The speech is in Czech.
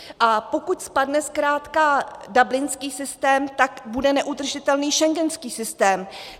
A pokud spadne zkrátka dublinský systém, tak bude neudržitelný schengenský systém.